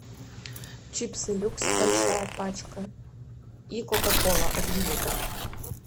чипсы люкс большая пачка и кока кола один литр